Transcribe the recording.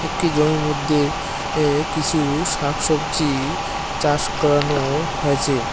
একটি জমির মধ্যে এ কিছু শাকসবজি চাষ করানো হয়েছে।